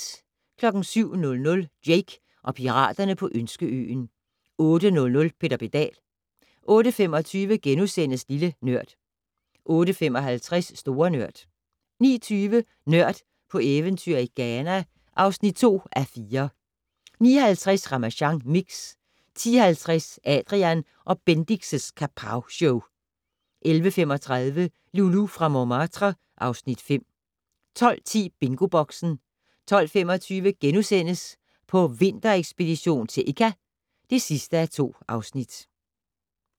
07:00: Jake og piraterne på Ønskeøen 08:00: Peter Pedal 08:25: Lille Nørd * 08:55: Store Nørd 09:20: Nørd på eventyr i Ghana (2:4) 09:50: Ramasjang Mix 10:50: Adrian & Bendix' Kapowshow 11:35: Loulou fra Montmartre (Afs. 5) 12:10: BingoBoxen 12:25: På vinterekspedition til Ikka (2:2)*